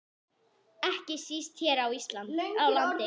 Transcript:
Ekki síst hér á landi.